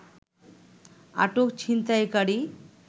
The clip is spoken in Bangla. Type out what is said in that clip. আটক ছিনতাইকারী